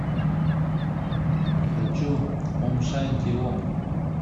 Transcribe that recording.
хочу ом шанти ом